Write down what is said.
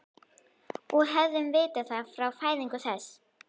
Og hefðum vitað það frá fæðingu þess.